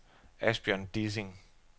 Asbjørn Dissing